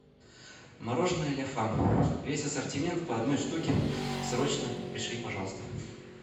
мороженое ля фам весь ассортимент по одной штуке срочно пришли пожалуйста